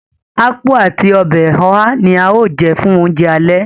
Ápú àti ọbẹ̀ oha ní a o jẹ fún oúnjẹ alẹ́